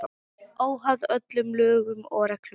Óháð öllum lögum og reglum.